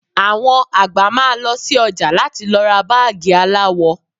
Àwọn àgbà máa lọ sí ọjà láti lọ ra báàgì aláwọ